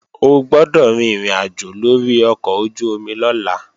O gbọ́dọ̀ rin ìrìnàjò lórí ọkọ̀ ojú-omi lọ́la!